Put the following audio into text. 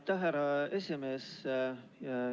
Aitäh, härra esimees!